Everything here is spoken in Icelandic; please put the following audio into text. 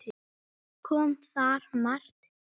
Kom þar margt til.